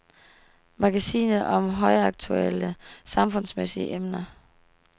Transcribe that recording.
Magasinet om højaktuelle, samfundsmæssige emner.